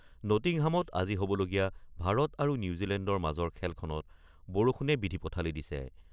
নটিংহামত আজি হ'বলগীয়া ভাৰত আৰু নিউজিলেণ্ডৰ মাজৰ খেলখনত বৰষুণে বিধি পথালি দিছে।